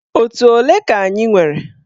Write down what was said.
Otù ole ka anyị nwere?